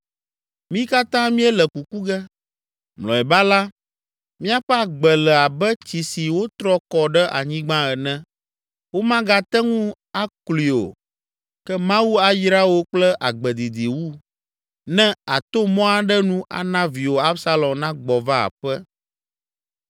Mí katã míele kuku ge, mlɔeba la míaƒe agbe le abe tsi si wotrɔ kɔ ɖe anyigba ene, womagate ŋu aklui o. Ke Mawu ayra wò kple agbe didi wu, ne àto mɔ aɖe nu ana viwò Absalom nagbɔ va aƒe.